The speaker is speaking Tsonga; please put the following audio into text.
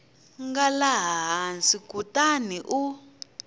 nga laha hansi kutani u